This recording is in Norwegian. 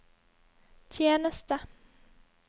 tjeneste